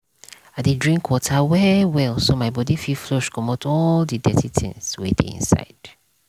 i dey drink water well well so my body fit flush commot all the the dirty tins wey dey inside.